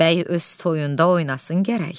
Bəy öz toyunda oynasın gərək.